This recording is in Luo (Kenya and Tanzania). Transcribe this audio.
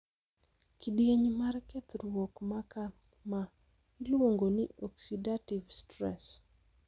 Kidieny mar kethruok ma kamaa iluongo ni 'oxidative stress'